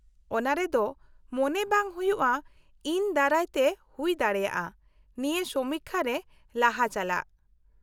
-ᱚᱱᱟ ᱨᱮᱫᱚ, ᱢᱚᱱᱮ ᱵᱟᱝ ᱦᱩᱭᱩᱜᱼᱟ ᱤᱧ ᱫᱟᱨᱟᱭᱛᱮ ᱦᱩᱭ ᱫᱟᱲᱮᱭᱟᱜᱼᱟ, ᱱᱤᱭᱟᱹ ᱥᱚᱢᱤᱠᱠᱷᱟ ᱨᱮ ᱞᱟᱦᱟ ᱪᱟᱞᱟᱜ ᱾